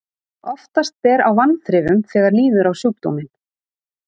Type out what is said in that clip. Oftast ber á vanþrifum þegar líður á sjúkdóminn.